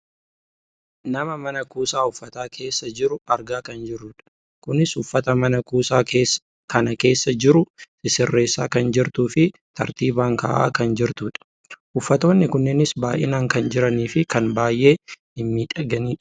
nama mana kuusaa uffataa keessa jiru argaa kan jirrudha. kunis uffata mana kuusaa kana keessa jiru sissirreessaa kan jirtuufi tartiibaan kaa'aa kan jirtudha. uffatoonni kunnees baayyinaan kan jiraniifi kan baayyee mimmiidhaganidha.